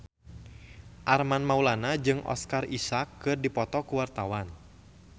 Armand Maulana jeung Oscar Isaac keur dipoto ku wartawan